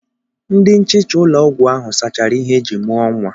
Ndi nchịcha ụlọ ọgwụ ahụ sachara ihe eji mụọ nwa.